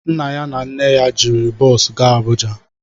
Nna ya na nne ya jiri bọosu gaa Abuja